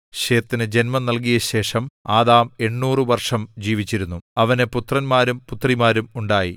ശേത്തിനു ജന്മം നൽകിയശേഷം ആദാം എണ്ണൂറു വർഷം ജീവിച്ചിരുന്നു അവന് പുത്രന്മാരും പുത്രിമാരും ഉണ്ടായി